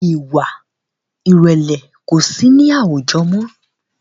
Ìwà ìrẹ̀lẹ̀ kosi ni awujọ mọ́